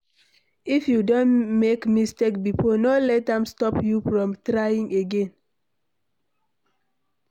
If you don make mistake before, no let am stop you from trying again